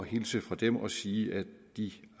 hilse fra dem og sige at de